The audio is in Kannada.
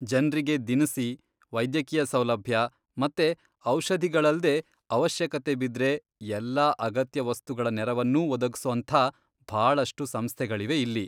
ಜನ್ರಿಗೆ ದಿನಸಿ, ವೈದ್ಯಕೀಯ ಸೌಲಭ್ಯ ಮತ್ತೆ ಔಷಧಿಗಳಲ್ದೇ ಅವಶ್ಯಕತೆ ಬಿದ್ರೆ ಎಲ್ಲಾ ಅಗತ್ಯ ವಸ್ತುಗಳ ನೆರವನ್ನೂ ಒದಗ್ಸೋಂಥ ಭಾಳಷ್ಟು ಸಂಸ್ಥೆಗಳಿವೆ ಇಲ್ಲಿ.